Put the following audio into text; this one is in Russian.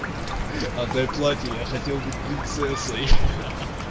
отдай платье я хотел быть принцессой ха-ха